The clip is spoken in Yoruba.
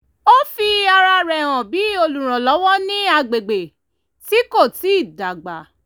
ó fi ara rẹ̀ hàn bí olùrànlọ́wọ́ ní agbègbè tí kò tíì dágbà